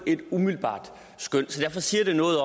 et umiddelbart skøn det siger noget